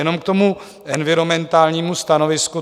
Jenom k tomu environmentálnímu stanovisku.